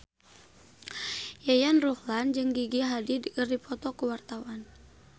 Yayan Ruhlan jeung Gigi Hadid keur dipoto ku wartawan